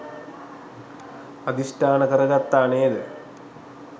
අධිෂ්ඨාන කරගත්තා නේද?